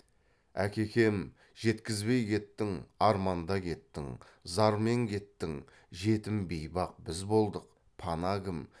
әкекем жеткізбей кеттің арманда кеттің зармен кеттің жетім бейбақ біз болдық пана кім